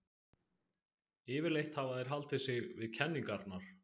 Yfirleitt hafa þeir haldið sig við kenningarnar.